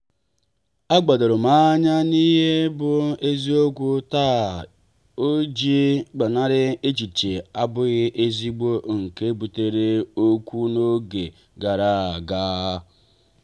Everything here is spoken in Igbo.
a gbadorom anya n'ihe bụ eziokwu taa ọ iji gbanari echiche abụghị ezigbo nke butere okwu n'oge gara aga.